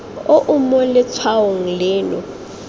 o o mo letshwaong leno